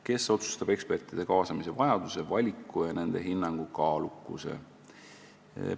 Kes otsustab ekspertide kaasamise vajaduse, valiku ja nende hinnangu kaalukuse?